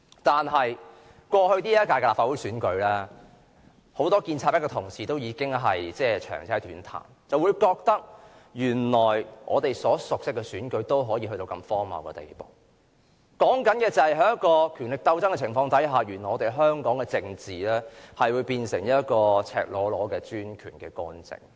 但是，在過去的這屆立法會選舉，很多建制派的同事已長嗟短嘆，覺得原來我們所熟悉的選舉竟然可達如此荒謬的地步；所說的就是在權力鬥爭的情況下，原來我們香港的政治會變成赤裸裸的專權干政。